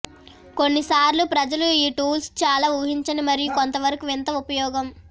కొన్నిసార్లు ప్రజలు ఈ టూల్స్ చాలా ఊహించని మరియు కొంతవరకు వింత ఉపయోగం